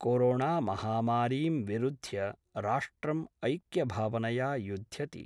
कोरोणामहामारीं विरुध्य राष्ट्रम् ऐक्यभावनया युद्ध्यति।